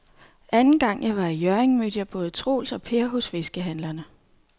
Anden gang jeg var i Hjørring, mødte jeg både Troels og Per hos fiskehandlerne.